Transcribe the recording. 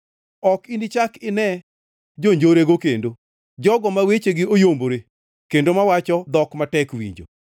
Ok inichak ine jonjorego kendo, jogo ma wechegi oyombore, kendo mawacho dhok matek winjo.